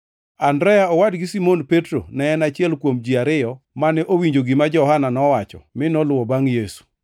Andrea mowadgi Simon Petro ne en achiel kuom ji ariyo mane owinjo gima Johana nowacho mi noluwo bangʼ Yesu.